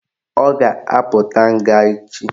Ọ ga-apụta nga echi